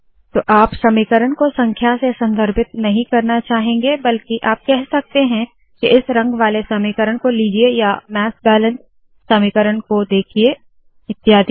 तो आप समीकरण को संख्या से संदर्भित नहीं करना चाहेंगे बल्कि आप कह सकते है के इस रंग वाले समीकरण को लीजिए या मास बैलेंस समीकरण को देखिए इत्यादि